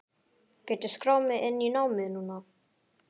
Get ég skráð mig inn í námið núna?